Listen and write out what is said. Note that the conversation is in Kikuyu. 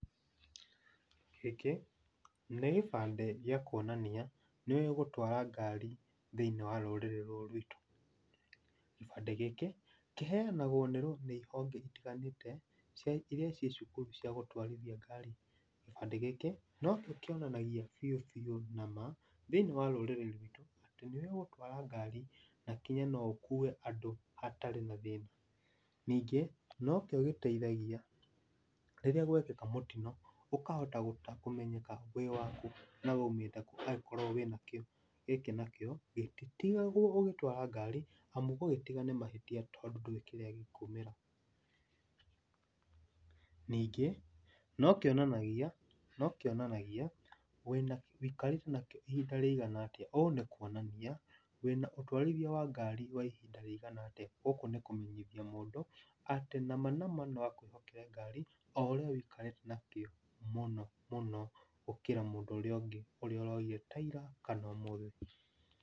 Gĩkĩ nĩ kĩbandĩ gia kuonania nĩũwĩ gũtwara ngari thĩinĩ wa rũrĩrĩ rũrũ rwitũ. Gĩbandĩ gĩkĩ, kĩheanagwo nĩ rũ nĩ honge itiganĩte cia iria ciĩ cukuru cia gũtwarithia ngari. Gĩbandi gĩkĩ nokĩo kĩonanagia biũ biũ nama thĩiniĩ wa rũrĩrĩ rwitũ atĩ nĩũwĩ gũtwara ngari na nginya no ũkue andũ hatarĩ na thĩna. Ningĩ nokĩo gĩteithagia rĩrĩa gwekĩka mũtino ũkahota gũta kũmenyeka wĩ wakũ na waumĩte kũũ angĩkorwo wĩnakĩo. Gĩkĩ nakĩo, gĩtitigagwo ũgĩtwara ngari amu gũgĩtiga nĩ mahĩtia tondũ ndũĩ kĩrĩa gĩkumĩra. Ningĩ, nokĩonanagia nokĩonanagia wĩna wĩkarĩte nakĩo ihinda rĩigana atĩa, ũũ nĩ kuonania wĩna ũtwarithia wa ngari wa ihinda rĩigana atĩa. Gũũkũ nĩ kũmenyithia mũndũ atĩ nama nama noakũĩhokere ngari oũrĩa ũikarĩte nakĩo mũno mũno gũkĩra mũndũ ũrĩa ũngĩ ũrĩa ũroire ta ira kana ũmũthĩ.